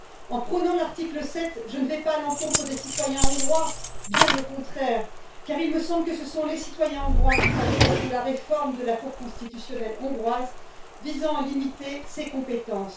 En prônant l'article 7, je ne vais pas à l'encontre des citoyens hongrois, bien au contraire, car il me semble que ce sont les citoyens hongrois qui pâtissent de la réforme de la Cour constitutionnelle hongroise visant à limiter ses compétences.